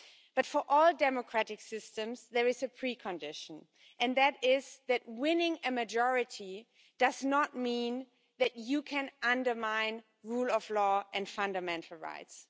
But for all democratic systems there is a pre condition, and that is that winning a majority does not mean that you can undermine rule of law and fundamental rights.